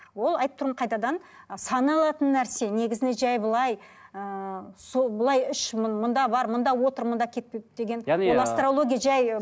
ол айтып тұрмын қайтадан ы саналатын нәрсе негізінде жай былай ыыы сол былай іш мында бар мына отыр мында кетпе деген ол астрология жай